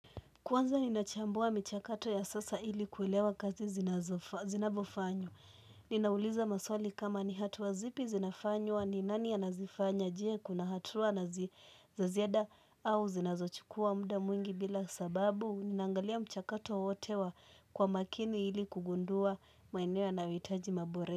Kwanza ninachambua michakato ya sasa ili kulewa kazi zinavyofanywa. Ninauliza maswali kama ni hatua zipi zinafanywa ni nani anazifanya je kuna hatua nazi za ziada au zinazochukua muda mwingi bila sababu. Ninangalia mchakato wote wa kwa makini ili kugundua maeneo yanayohitaji mabore.